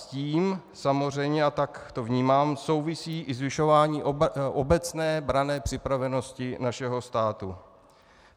S tím samozřejmě, a tak to vnímám, souvisí i zvyšování obecné branné připravenosti našeho státu.